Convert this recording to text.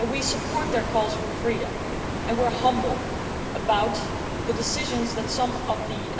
We support their calls for freedom and we are humble about the decisions that some of the